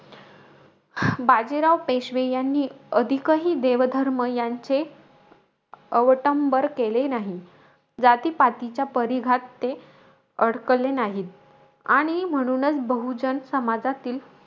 बाजीराव पेशवे यांनी अधिकही देवधर्म यांचे अवटंबर केले नाही. जातीपातीच्या परिघात, ते अडकले नाही. आणि म्हणूनचं बहुजन समाजातील,